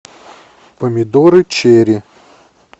помидоры черри